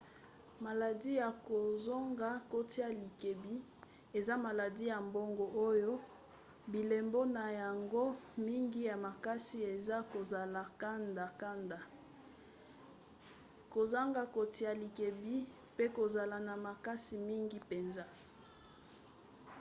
maladi ya kozonga kotia likebi eza maladi ya boongo oyo bilembo na yango mingi ya makasi eza kozala kanda-kanda kozanga kotia likebi pe kozala na makasi mingi mpenza